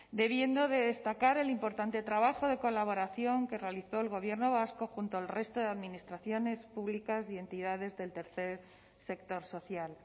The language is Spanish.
debiendo de destacar el importante trabajo de colaboración que realizó el gobierno vasco junto al resto de administraciones públicas y entidades del tercer sector social